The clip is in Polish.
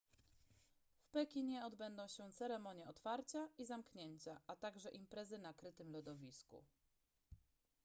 w pekinie odbędą się ceremonie otwarcia i zamknięcia a także imprezy na krytym lodowisku